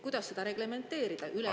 Kuidas seda reglementeerida?